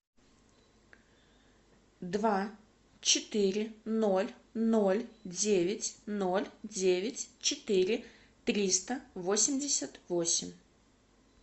два четыре ноль ноль девять ноль девять четыре триста восемьдесят восемь